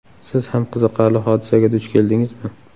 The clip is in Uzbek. Siz ham qiziqarli hodisaga duch keldingizmi?